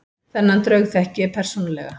Þennan draug þekki ég persónulega.